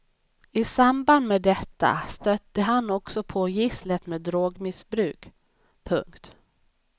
I samband med detta stötte han också på gisslet med drogmissbruk. punkt